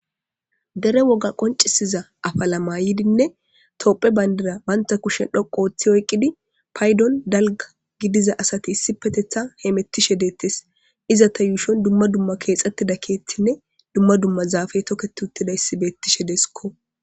Dere woga qoncisiza afa lama yidinne toopphe bayndira banta kushen dhoqo ooththi oyqqidi paydon dalga gidiza asati issi petetha he mettishe deettes izata yuushon dumma dumma keexxettida keethinne dumma dumma zaafe tokket uttidayssi beettishe deesikko.